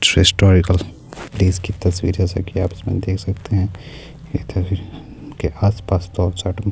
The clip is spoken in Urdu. جیسا کہ اپ دیکھ سکتے ہیں ادھر ان - کے اس پاس--